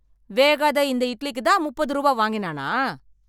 வேகாத இந்த இட்லிக்கு தான் முப்பது ரூபா வாங்கினானா?